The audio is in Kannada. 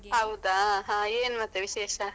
ಹೌದಾ, ಹ ಏನ್ ಮತ್ತೆ ವಿಶೇಷ.